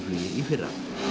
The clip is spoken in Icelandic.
í fyrra